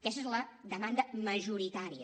aquesta és la demanda majoritària